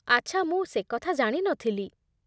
ଆଚ୍ଛା, ମୁଁ ସେକଥା ଜାଣି ନ ଥିଲି।